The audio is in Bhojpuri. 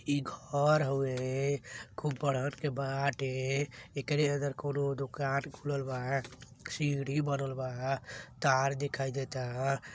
इ घर हवे खूब बड़हन के बाटे एकरे अंदर कउनो दुकान खोलल बा सीढ़ी बनल बा तार दिखाई देता --